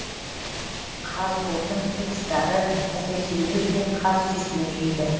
қазотын үй құстары әсіресе үйрек пен қаз сүйсініп жейді